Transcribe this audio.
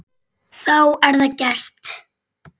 Þá er það gert.